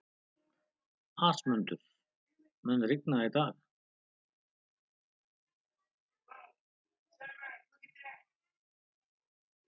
Ásmundur, mun rigna í dag?